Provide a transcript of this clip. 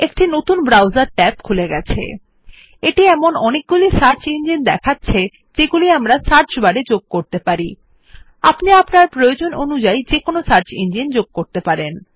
একটি নতুন browser tab খুলে গেছে এটি অনেকগুলি সার্চ ইঞ্জিন দেখাচ্ছে যেগুলি আমরা সার্চ বার এ যোগ করতে পারি আপনি আপনার প্রয়োজন অনুযায়ী যেকোন সার্চ ইঞ্জিন যোগ করতে পারেন